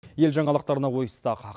ел жаңалықтарына ойыссақ